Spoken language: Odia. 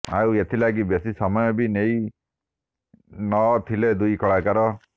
ଆଉ ଏଥିଲାଗି ବେଶୀ ସମୟ ବି ନେଇ ନ ଥିଲେ ଦୁଇ କଳାକାର